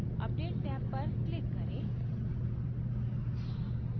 update tab पर click करें